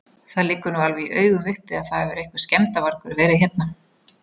Það liggur nú alveg í augum uppi að það hefur einhver skemmdarvargur verið hérna.